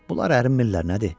Bunlar ərinmirlər nədir?